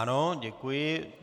Ano, děkuji.